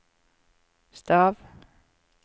stav